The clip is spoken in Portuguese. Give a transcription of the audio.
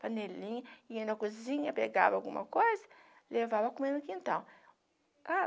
panelinha, ia na cozinha, pegava alguma coisa, levava comer no quintal.